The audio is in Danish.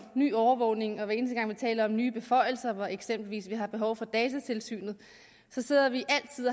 nye overvågninger og hver eneste gang vi taler om nye beføjelser hvor vi eksempelvis har behov for datatilsynet